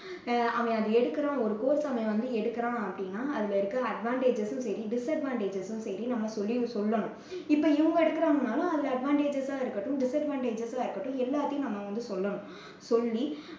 அஹ் அவன் அதை எடுக்குறான், ஒரு course ச அவன் எடுக்குறான் அப்படின்னா அதுல இருக்குற advantages சும் சரி disadvantages சும் சரி நம்ப சொல்லி~ சொல்லணும். இப்போ இவங்க எடுக்குறாங்கன்னாலும் அந்த advantages சா இருக்கட்டும், disadvantages சா இருக்கட்டும் எல்லாததையும் நம்ம வந்து சொல்லணும் சொல்லி